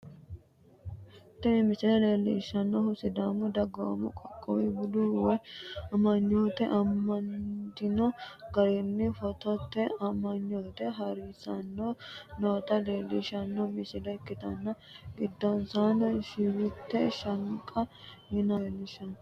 tini misile leellishshannohu sidaamu dagoomu qoqqowi bude woy amanyoote amadino garinni footote amanyoote hari'sanni noota leellishshanno misile ikkitanna, giddonsano shewiti shaanqa yinanniti ledonsa no.